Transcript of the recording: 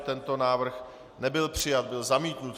Tento návrh nebyl přijat, byl zamítnut.